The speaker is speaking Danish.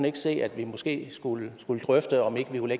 ikke se at vi måske skulle drøfte om ikke vi kunne